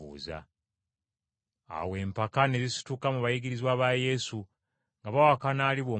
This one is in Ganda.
Awo empaka ne zisituka mu bayigirizwa ba Yesu, nga bawakanira aliba omukulu mu bo.